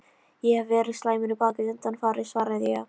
Ég hef verið slæmur í baki undanfarið svaraði ég.